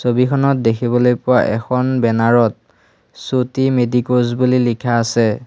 ছবিখনত দেখিবলৈ পোৱা এখন বেনাৰ ত চুটি মেদিক'জ বুলি লিখা আছে।